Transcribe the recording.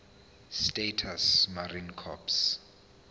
states marine corps